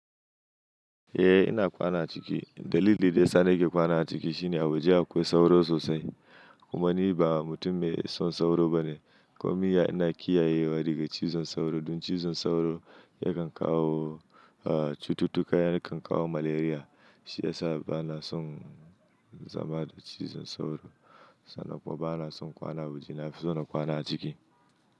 Eh ina kwana a ciki. Dalili daya sa ni ke kwana a ciki shine a waje akwai sauro sosai. Kuma ni ba mutum mai son sauro bane. Komin ya ina kiyaye wa daga cizon sauro. Don cizon sauro yakan kawo cututtuka yane kan kawo malaria. Shi ya sa ba na son zama da cizon sauro. Sannan kuma bana son kwana a waje, na fi so na kwana a ciki.